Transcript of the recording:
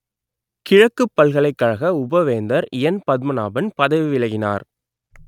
கிழக்குப் பல்கலைக்கழக உபவேந்தர் என் பத்மநாபன் பதவி விலகினார்